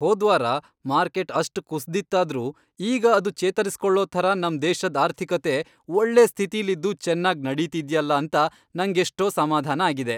ಹೋದ್ವಾರ market ಅಷ್ಟ್ ಕುಸ್ದಿತ್ತಾದ್ರೂ ಈಗ ಅದು ಚೇತರಿಸ್ಕೊಳೋ ಥರ ನಮ್ ದೇಶದ್ ಆರ್ಥಿಕತೆ ಒಳ್ಳೆ ಸ್ಥಿತಿಲಿದ್ದು ಚೆನ್ನಾಗ್ ನಡೀತಿದ್ಯಲ್ಲ ಅಂತ ನಂಗೆಷ್ಟೋ ಸಮಾಧಾನ ಆಗಿದೆ.